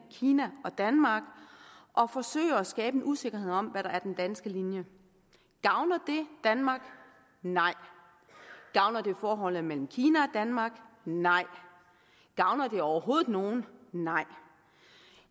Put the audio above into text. kina og danmark og forsøge at skabe en usikkerhed om hvad der er den danske linje gavner det danmark nej gavner det forholdet mellem kina og danmark nej gavner det overhovedet nogen nej